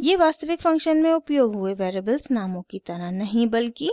ये वास्तविक फ़ंक्शन में उपयोग हुए वेरिएबल्स नामों की तरह नहीं बल्कि